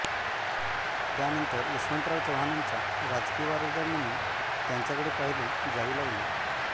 त्यानंतर यशवंतराव चव्हाणांचा राजकीय वारसदार म्हणून त्यांच्याकडे पाहिले जाऊ लागले